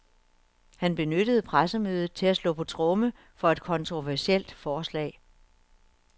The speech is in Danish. Han benyttede pressemødet til at slå på tromme for et kontroversielt forslag.